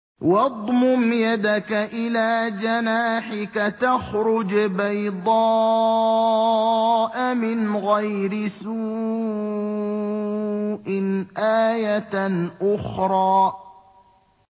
وَاضْمُمْ يَدَكَ إِلَىٰ جَنَاحِكَ تَخْرُجْ بَيْضَاءَ مِنْ غَيْرِ سُوءٍ آيَةً أُخْرَىٰ